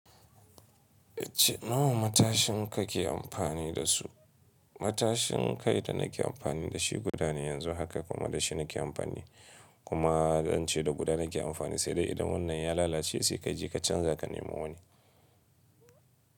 Wace nawa matashin ka ke amfani da su? Matashin kai da nake amfani da shi guda ne yanzu haka kuma da shi nake amfani kuma an ce da guda nake amfani sai dai idan wannan ya lalace sai ka je ka canza ka nemo wani.